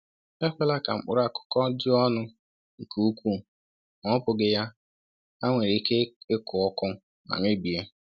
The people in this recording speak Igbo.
Ekwela ka mkpụrụ akù̀kọ ju ọnụ nke ukwuu, ma ọ bụghị ya, ha nwere ike ịkụ ọkụ ma mebie.